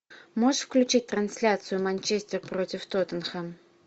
можешь включить трансляцию манчестер против тоттенхэм